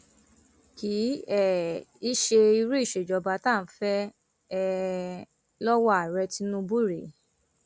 kì um í ṣe irú ìṣèjọba tá à ń fẹ um lọwọ ààrẹ tinubu rèé